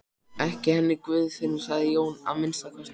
Ekki henni Guðfinnu hans Jóns að minnsta kosti.